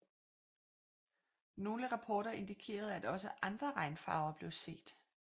Nogle rapporter indikerede at også andre regnfarver blev set